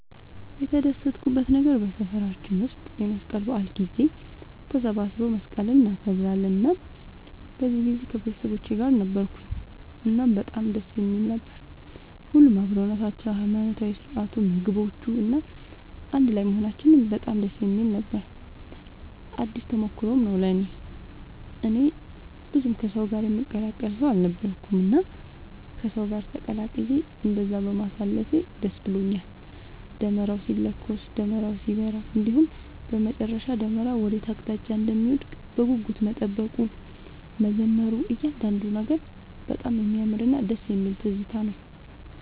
የተደሰትኩበት ነገር በሰፈራችን ውስጥ የመስቀል በዓል ጊዜ ተሰባስበው መስቀልን እናከብራለን እናም በዚህ ጊዜ ከቤተሰቦቼ ጋር ነበርኩኝ እናም በጣም ደስ የሚል ነበር። ሁሉም አብሮነታቸው፣ የሃይማኖታዊ ስርዓቱ፣ ምግቦቹ፣ እና አንድ ላይም መሆናችን በጣም ደስ የሚል ነበር ነው። አዲስ ተሞክሮም ነው ለእኔ። እኔ ብዙም ከሰው ጋር የምቀላቀል ሰው አልነበርኩኝም እና ከሰው ጋር ተቀላቅዬ እንደዛ በማሳለፌ ደስ ብሎኛል። ደመራው ሲለኮስ፣ ደመራው ሲበራ እንዲሁም በመጨረሻ ደመራው ወዴት አቅጣጫ እንደሚወድቅ በጉጉት መጠበቁ፣ መዘመሩ እያንዳንዱ ነገር በጣም የሚያምርና ደስ የሚል ትዝታ ነው።